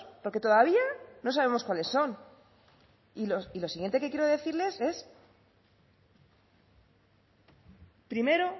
porque todavía no sabemos cuáles son y lo siguiente que quiero decirles es primero